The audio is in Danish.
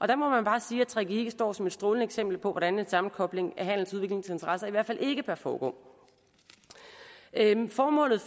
der må man bare sige at gggi står som et strålende eksempel på hvordan en sammenkobling af handels og udviklingsinteresser i hvert fald ikke bør foregå formålet